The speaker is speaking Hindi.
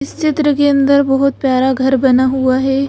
इस क्षेत्र के अंदर बहुत प्यारा घर बना हुआ है।